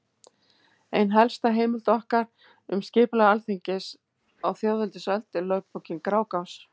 En helsta heimild okkar um skipulag Alþingis á þjóðveldisöld er lögbókin Grágás.